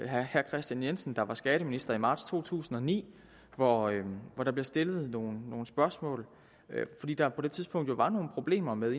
herre kristian jensen der var skatteminister i marts to tusind og ni hvor hvor der blev stillet nogle nogle spørgsmål fordi der på det tidspunkt var nogle problemer med